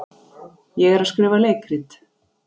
Ég er að skrifa leikrit.